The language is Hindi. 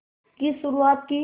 की शुरुआत की